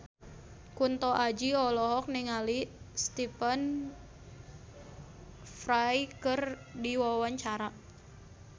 Kunto Aji olohok ningali Stephen Fry keur diwawancara